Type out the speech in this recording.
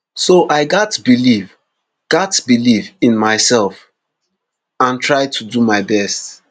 so i gatz believe gatz believe in myself and try to do my best